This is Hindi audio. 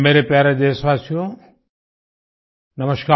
मेरे प्यारे देशवासियो नमस्कार